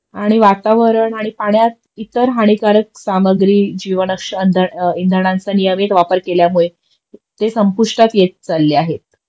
आणि वातावरण आणि पाण्यात इतर हानिकारक सामग्री जीवनश्य इंधनाचा नियमित वापर केल्यामुळे ते संपुष्टात येत चालले आहेत